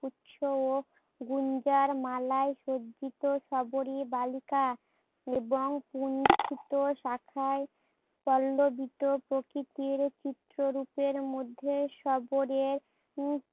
উচ্চ গুঞ্জার মালাই সজ্জিত সবরি বালিকা এবং পুষ্পিত শাখাই পল্লবিত প্রকৃতির চিত্র রুপের মধ্যে